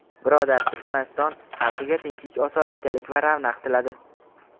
birodar Turkmaniston xalqiga tinchlik-osoyishtalik va ravnaq tiladi.